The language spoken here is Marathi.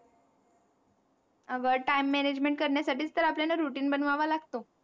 अगं time management करण्यासाठी तर आपल्याला routine बनवावा लागतो.